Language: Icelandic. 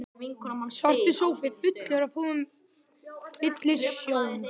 Svartur sófi fullur af púðum fyllir sjón